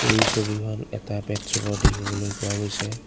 এই ছবিখনত এটা পেট চকাও দেখিবলৈ পোৱা গৈছে।